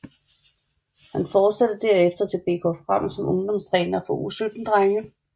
Han fortsatte derefter til BK Frem som ungdomstræner for U17 drenge